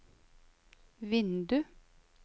vindu